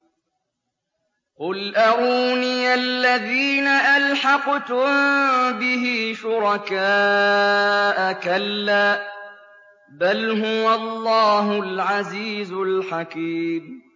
قُلْ أَرُونِيَ الَّذِينَ أَلْحَقْتُم بِهِ شُرَكَاءَ ۖ كَلَّا ۚ بَلْ هُوَ اللَّهُ الْعَزِيزُ الْحَكِيمُ